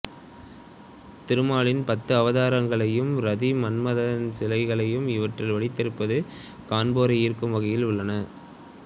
திருமாலின் பத்து அவதாரங்களையும் ரதி மன்மதன் சிலைகளையும் இவற்றில் வடித்திருப்பது காண்போரை ஈர்க்கும் வகையில் உள்ளன